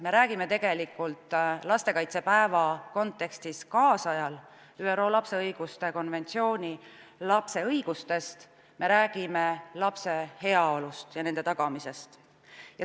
Me räägime lastekaitsepäeva kontekstis ÜRO lapse õiguste konventsioonist, lapse õigustest, me räägime lapse heaolust ja selle tagamisest.